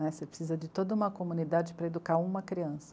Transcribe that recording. Né, você precisa de toda uma comunidade para educar uma criança.